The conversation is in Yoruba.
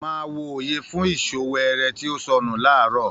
Máa wo oye fún ìsọ weere tí ó sọnù laarọ.